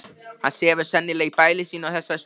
Hann sefur sennilega í bæli sínu á þessari stundu.